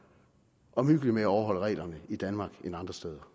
omhyggelig med at overholde reglerne i danmark end andre steder